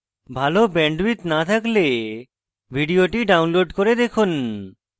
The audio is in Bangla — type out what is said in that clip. ভাল bandwidth না থাকলে ভিডিওটি download করে দেখুন